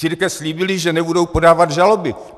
Církve slíbily, že nebudou podávat žaloby.